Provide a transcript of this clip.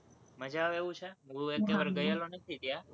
મજા આવે એવું છે? હું એકેય વાર ગયો નથી ત્યાં,